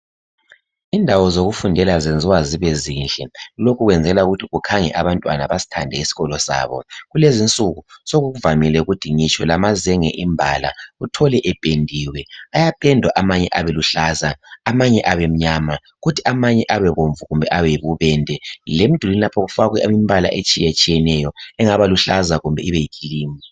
Indawo zokufundela zenziwa zibe zinhle lokhu Kwenzelwa ukuba kukhange abantwana basithande isikolo sabo kulezinsuku sokuvamile ngitsho lamazenge imbala uthole sependiwe ayapendwa abeluhlaza amanye abemnyama kuthi amanye abe bomvu kumbe abe yibubende lemdulwini kufakwe imbala etshiyeneyo engaba luhlaza kumbe ibeyikhilimu